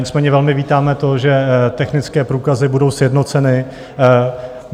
Nicméně velmi vítáme to, že technické průkazy budou sjednoceny.